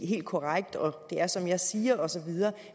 helt korrekt og det er som jeg siger og så videre